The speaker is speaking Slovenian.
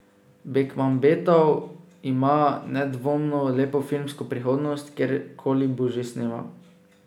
Bekmambetov ima nedvomno lepo filmsko prihodnost, kjer koli bo že snemal.